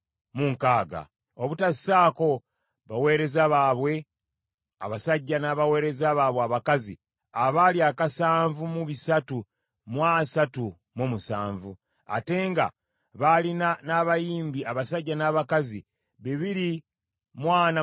obutassaako baweereza baabwe abasajja n’abaweereza baabwe abakazi abaali akasanvu mu bisatu mu asatu mu musanvu (7,337); ate nga baalina n’abayimbi abasajja n’abakazi bibiri mu ana mu bataano (245).